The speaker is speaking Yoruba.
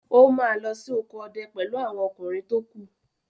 ó ma lọ sí oko ọdẹ pẹ̀lú àwọn ọkùnrin tókù.